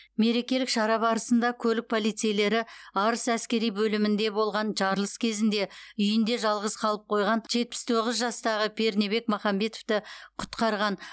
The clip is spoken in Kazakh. мерекелік шара барысында көлік полицейлері арыс әскери бөлімінде болған жарылыс кезінде үйінде жалғыз қалып қойған жастағы пернебек махамбетовті құтқарған